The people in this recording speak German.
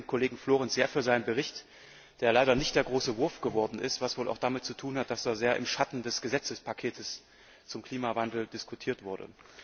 Ich danke dem Kollegen Karl Heinz Florenz sehr für seinen Bericht, der leider nicht der große Wurf geworden ist, was wohl auch damit zu tun hat, dass er sehr im Schatten des Gesetztespakets zum Klimawandel diskutiert wurde.